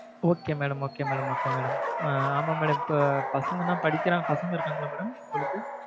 okay madam okay madam okay madam ஆமா madam இப்ப பசங்கன்னா படிக்கிற பசங்க இருக்காங்களா madam உங்களுக்கு?